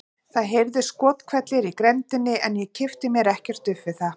Það heyrðust skothvellir í grenndinni en ég kippti mér ekkert upp við það.